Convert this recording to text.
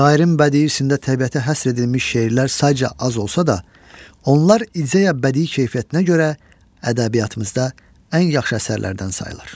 Şairin bədiiyyəsində təbiətə həsr edilmiş şeirlər sayca az olsa da, onlar ideya-bədii keyfiyyətinə görə ədəbiyyatımızda ən yaxşı əsərlərdən sayılır.